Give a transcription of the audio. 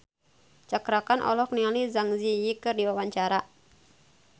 Cakra Khan olohok ningali Zang Zi Yi keur diwawancara